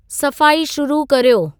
सफ़ाई शुरू कर्यो